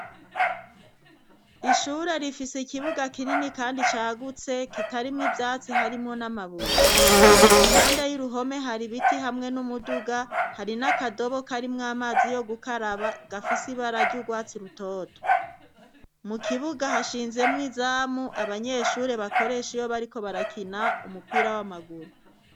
Ishure rifise ikibuga kinini, kandi cagutse kitarimwo ivyatsi harimwo n'amabuye impande y'uruhome hari ibiti hamwe n'umuduga hari n'akadobo karimwo amazi yo gukaraba gafise ibararya urwatsi rutoto mu kibuga hashinzemwo izamu abanyeshure bakoresha iyoa, ariko barakina umupira w'amaguru.